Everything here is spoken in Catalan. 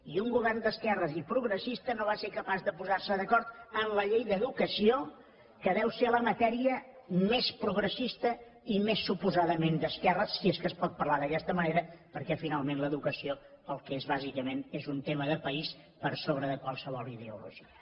i un govern d’esquerres i progressista no va ser capaç de posar se d’acord en la llei d’educació que deu ser la matèria més progressista i més suposadament d’esquerres si és que es pot parlar d’aquesta manera perquè finalment l’educació el que és bàsicament és un tema de país per sobre de qualsevol ideologia